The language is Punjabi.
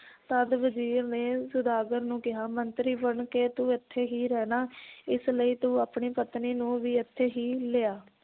ਤਦ ਵਜ਼ੀਰ ਨੇ ਸੌਦਾਗਰ ਨੂੰ ਕਿਹਾ ਮੰਤਰੀ ਬਣ ਕੇ ਤੂੰ ਇਥੇ ਹੀ ਰਹਿਣਾ ਇਸ ਲਈ ਤੂੰ ਆਪਣੀ ਪਤਨੀ ਨੂੰ ਵੀ ਇਥੇ ਹੀ ਲਿਆ